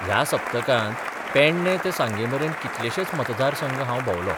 ह्या सप्तकांत पेडणे ते सांगेमेरेन कितलेशेच मतदारसंघ हांव भोंबलो.